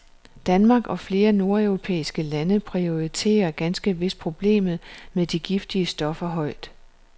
Danmark og flere nordeuropæiske lande prioriterer ganske vist problemet med de giftige stoffer højt.